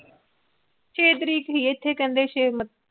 ਛੇ ਤਰੀਕ ਦੀ ਏਥੇ